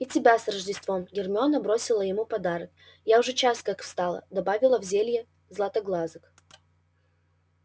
и тебя с рождеством гермиона бросила ему подарок я уже час как встала добавила в зелье златоглазок